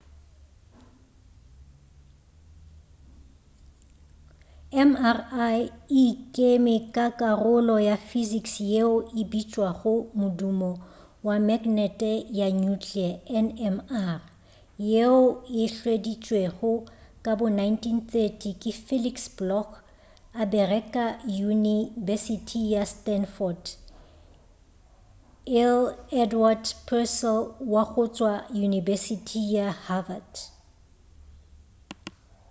mri e ikeme ka karolo ya physics yeo e bitšwago modumo wa magnete wa nuclear nmr yeo e hweditšwego ka bo 1930 ke felix bloch a bereka yunibesithi ya stanford lr edward purcell wa go tšwa yunibesithi ya havard